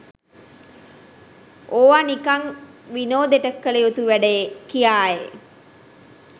ඕවා නිකං විනෝදෙට කළයුතු වැඩ කියායි.